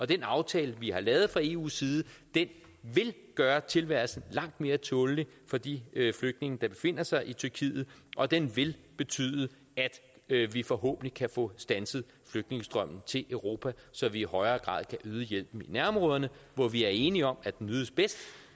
den aftale vi har lavet fra eus side vil gøre tilværelsen langt mere tålelig for de flygtninge der befinder sig i tyrkiet og den vil betyde at vi forhåbentlig kan få standset flygtningestrømmen til europa så vi i højere grad kan yde hjælpen i nærområderne hvor vi er enige om at den ydes bedst